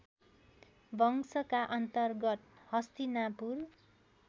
वंशका अन्तर्गत हस्तिनापुर